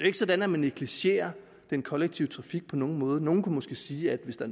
ikke sådan at man negligerer den kollektive trafik på nogen måde nogle kunne måske sige at hvis der